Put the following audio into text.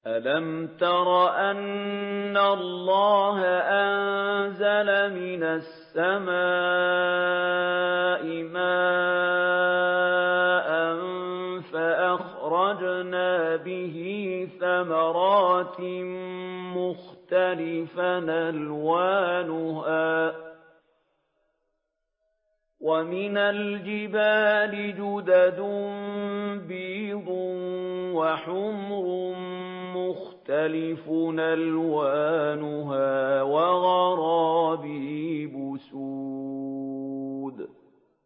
أَلَمْ تَرَ أَنَّ اللَّهَ أَنزَلَ مِنَ السَّمَاءِ مَاءً فَأَخْرَجْنَا بِهِ ثَمَرَاتٍ مُّخْتَلِفًا أَلْوَانُهَا ۚ وَمِنَ الْجِبَالِ جُدَدٌ بِيضٌ وَحُمْرٌ مُّخْتَلِفٌ أَلْوَانُهَا وَغَرَابِيبُ سُودٌ